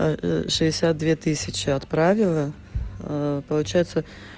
а шестьдесят две тысячи отправила получается